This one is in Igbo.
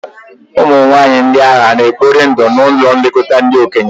Ụmụ nwanyị ndị ahụ hà na-ekpori ndụ n'ụlọ nlekọta ndị okenye?